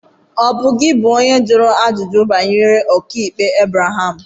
Ọ̀ bụ gị bụ onye jụrụ ajụjụ banyere okpukpe Ebreham?